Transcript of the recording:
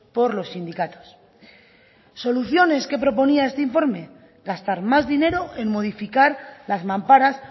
por los sindicatos soluciones que proponía este informe gastar más dinero en modificar las mamparas